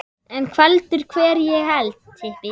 En veldur hver á heldur.